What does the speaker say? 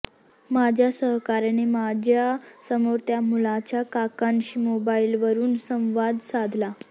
माझ्या सहकाऱ्याने माझ्या समोर त्या मुलाच्या काकांशी मोबाइलवरून संवाद साधला